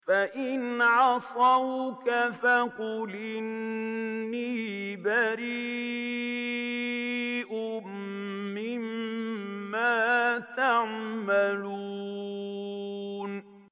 فَإِنْ عَصَوْكَ فَقُلْ إِنِّي بَرِيءٌ مِّمَّا تَعْمَلُونَ